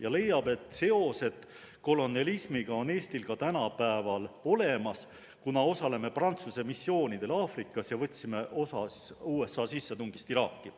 Ta leiab, et seosed kolonialismiga on Eestil ka tänapäeval olemas, kuna osaleme Prantsuse missioonidel Aafrikas ja võtsime osa USA sissetungist Iraaki.